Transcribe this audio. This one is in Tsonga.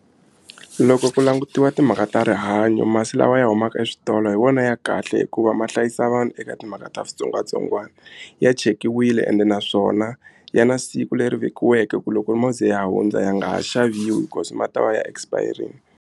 Loko ku langutiwa timhaka ta rihanyo masi lawa ya humaka eswitolo hi wona ya kahle hikuva ma hlayisa vanhu eka timhaka ta switsongwatsongwana ya chekiwile ende naswona ya na siku leri vekiweke ku loko mo ze ya hundza ya nga ha xaviwi because ma ta va ya expire-ini.